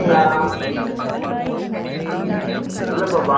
இல்லப்பா, ward code பண்ற மட்டும்தான்